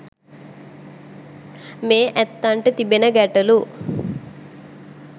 මේ ඇත්තන්ට තිබෙන ගැටළු